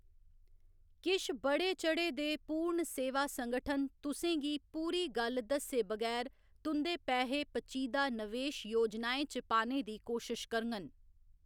किश बड़े चढ़े दे पूर्ण सेवा संगठन तुसें गी पूरी गल्ल दस्से बगैर तुं'दे पैहे पचीदा नवेश योजनाएं च पाने दी कोशश करङन।